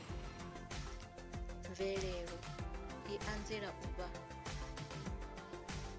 mvelelo i anzela u vha